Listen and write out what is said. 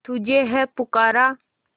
तुझे है पुकारा